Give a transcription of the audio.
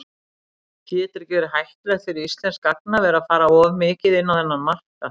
Getur ekki verið hættulegt fyrir íslenskt gagnaver að fara of mikið inn á þennan markað?